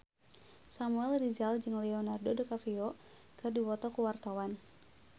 Samuel Rizal jeung Leonardo DiCaprio keur dipoto ku wartawan